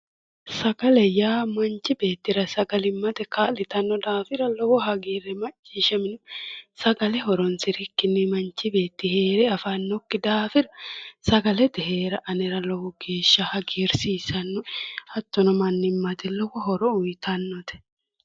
sagale yaa manchi beettira sagalimmate kaa'litanno daafira lowo hagiirri macciishshaminoe sagale horonsirikkinni manchi beetti heere afannokki daafira sagalete heera anera lowo geeshsha hagiirsiissannoe hattono mannimmate lowo horo uyiitannote.